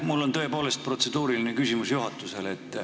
Mul on tõepoolest protseduuriline küsimus juhatusele.